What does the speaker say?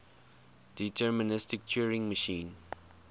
deterministic turing machine